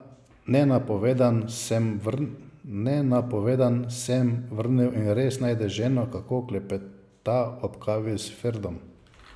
Nenapovedan sem vrne in res najde ženo, kako klepeta ob kavi s Ferdom.